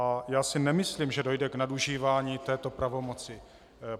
A já si nemyslím, že dojde k nadužívání této pravomoci.